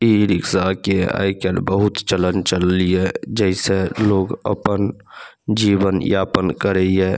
E-rickshaw के आजकल बहुत चलन चलिए जैसे लोग अपन जीवन यापन करये।